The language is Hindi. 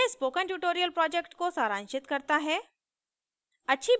यह spoken tutorial project को सारांशित करता है